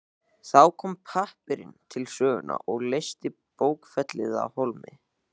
Þá kom pappírinn til sögu og leysti bókfellið af hólmi.